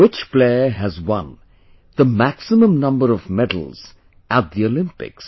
Which player has won the maximum number of medals at the Olympics